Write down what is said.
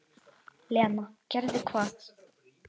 Lena: Gerði hvað?